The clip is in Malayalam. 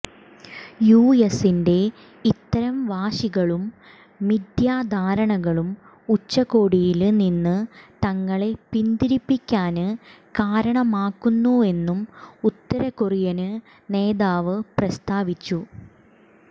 യുഎസിന്റെ ഇത്തരം വാശികളും മിഥ്യാധാരണകളും ഉച്ചകോടിയില് നിന്ന് തങ്ങളെ പിന്തിരിപ്പിക്കാന് കാരണമാകുമെന്നും ഉത്തരകൊറിയന് നേതാവ് പ്രസ്താവിച്ചു